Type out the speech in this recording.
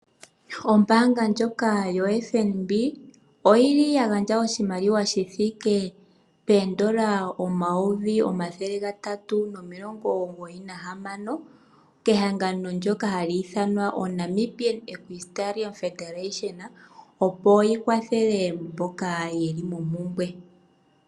Ombaanga ndjoka yo FNB, oyili ya gandja oshimaliwa shi thike peendola omayovi omathele gatatu nomilongo omugoyi nahamano, kehangano ndjoka hali ithanwa oNamibian equistarium federation, opo yi kwathele mboka yeli mompumbwe.